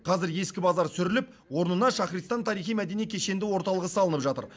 қазір ескі базар сүріліп орнына шахристан тарихи мәдени кешенді орталығы салынып жатыр